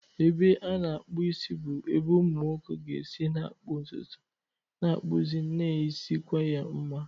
Ebe a na-akpụ isi bụ ebe ụmụ nwoke ga-esi na-akpụ ntutu, na-akpụzi, na-esikwa ya mma.